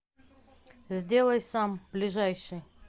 сделай сам ближайший